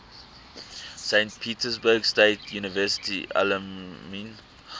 saint petersburg state university alumni